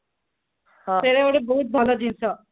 ସେଟା ଗୋଟେ ବହୁତ ଭଲ ଜିନିଷ